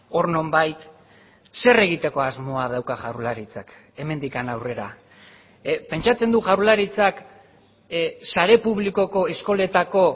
hor nonbait zer egitekoasmoa dauka jaurlaritzak hemendik aurrera pentsatzen du jaurlaritzak sare publikoko eskoletako